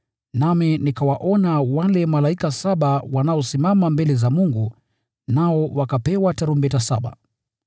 Nami nikawaona wale malaika saba wanaosimama mbele za Mungu, nao wakapewa tarumbeta saba.